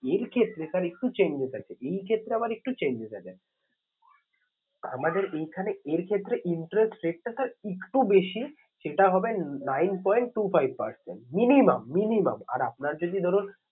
এর ক্ষেত্রে sir একটু changes আছে। এই ক্ষেত্রে আবার একটু changes আছে আমাদের এইখানে এর ক্ষেত্রে interest rate টা sir একটু বেশি। সেটা হবে nine point two five percent minimum minimum আর আপনার যদি ধরুন